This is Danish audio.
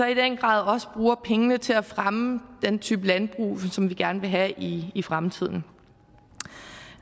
i den grad også bruge pengene til at fremme den type landbrug som vi gerne vil have i i fremtiden